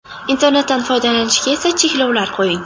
Internetdan foydalanishga esa cheklovlar qo‘ying.